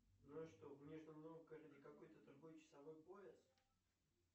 ну а что в нижнем новгороде какой то другой часовой пояс